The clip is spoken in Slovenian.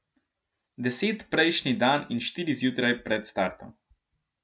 Deset prejšnji dan in štiri zjutraj pred startom.